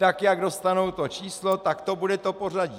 Tak jak dostanou to číslo, tak to bude to pořadí.